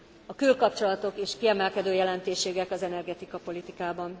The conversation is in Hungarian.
A külkapcsolatok is kiemelkedő jelentőségűek az energetikapolitikában.